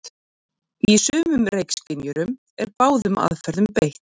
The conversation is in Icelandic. Í sumum reykskynjurum er báðum aðferðum beitt.